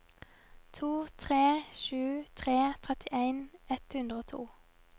to tre sju tre trettien ett hundre og to